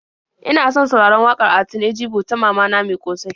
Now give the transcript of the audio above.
Ina son sauraron waƙar Altine Jibo ta "Mama na mai ƙosai."